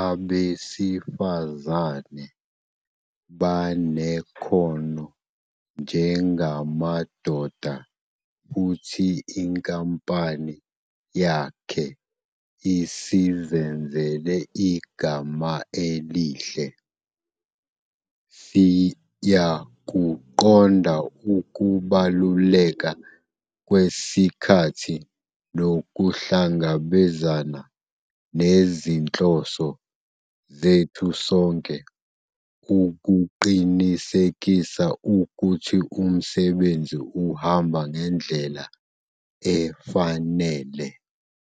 abesifazane banekhono njengamadoda futhi inkampani yakhe isizenzele igama elihle. "Siyakuqonda ukubaluleka kwesikhathi nokuhlangabezana nezinhloso zethu sonke ukuqinisekisa ukuthi umsebenzi uhamba ngendlela efanele."